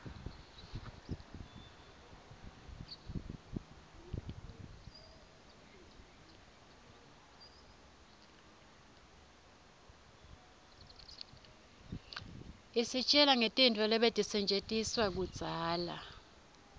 isitjela ngetintfu letatisetjentiswaluudzala